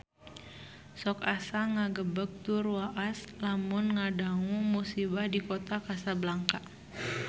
Sok asa ngagebeg tur waas lamun ngadangu musibah di Kota Kasablanka